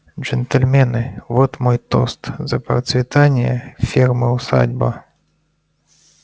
джентльмены вот мой тост за процветание фермы усадьба